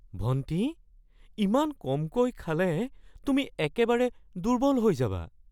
ভণ্টি, ইমান কমকৈ খালে তুমি একেবাৰে দুৰ্বল হৈ যাবা।